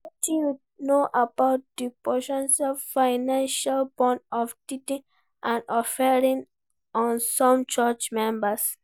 Wetin you know about di po ten tial financial burden of tithing and offerings on some church members?